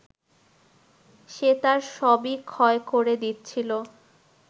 সে তার সবই ক্ষয় করে দিচ্ছিল